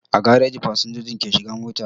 A gareji fasinjoji ke shiga mota